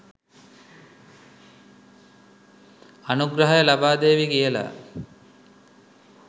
අනුග්‍රහය ලබාදේවි කියලා.